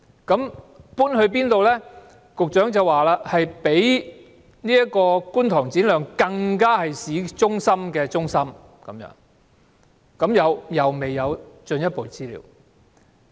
局長說學校會搬至較原址更近市中心的地方，但又未有進一步資料。